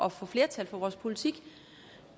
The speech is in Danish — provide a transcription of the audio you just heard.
at få flertal for vores politik